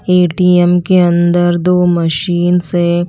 ATM के अंदर दो मशीन से--